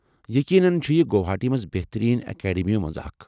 یٔقینن چھ یہِ گوہاٹی منٛز بہتٔریٖن اکیڈمیو منٛز اکھ ۔